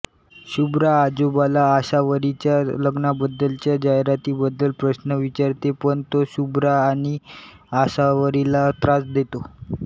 शुभ्रा आजोबाला आसावरीच्या लग्नाबद्दलच्या जाहिरातीबद्दल प्रश्न विचारते पण तो शुभ्रा आणि आसावरीला त्रास देतो